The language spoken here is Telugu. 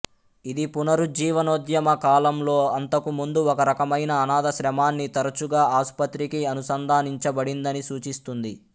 ఇది పునరుజ్జీవనోద్యమ కాలంలో అంతకు ముందు ఒక రకమైన అనాథాశ్రమాన్ని తరచుగా ఆసుపత్రికి అనుసంధానించబడిందని సూచిస్తుంది